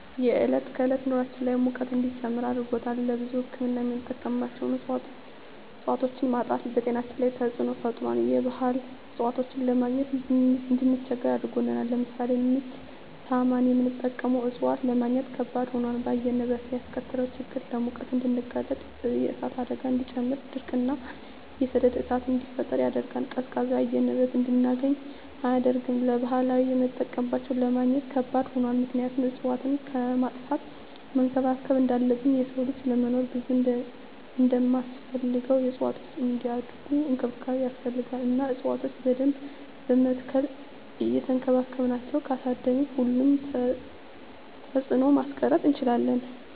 የዕለት ከዕለት ኑራችን ላይ ሙቀት እንዲጨምር አድርጎታል። ለብዙ ህክምና የምንጠቀማቸው እፅዋቶች ማጣት በጤናችን ላይ ተፅዕኖ ፈጥሯል የባህል እፅዋቶችን ለማግኘት እንድንቸገር አድርጎናል። ለምሳሌ ምች ሳመን የምንጠቀመው እፅዋት ለማግኘት ከበድ ሆኗል። በአየር ንብረት ላይ ያስከተለው ችግር ለሙቀት እንድንጋለጥ የእሳት አደጋን እንዲጨምር ድርቅ እና የሰደድ እሳትን እንዲፈጠር ያደርጋል። ቀዝቃዛ የአየር ንብረት እንድናገኝ አያደርግም። ለባህላዊ የምጠቀምባቸው ለማግኘት ከባድ ሆኗል ምክንያቱም እፅዋትን ከማጥፋት መንከባከብ እንዳለብን የሰው ልጅ ለመኖር ብዙ እንደማስፈልገው እፅዋትም እንዲያድጉ እንክብካቤ ይፈልጋሉ እና እፅዋቶችን በደንብ በመትከል እየቸንከባከብን ካሳደግን ሁሉንም ተፅዕኖ ማስቀረት እንችላለን።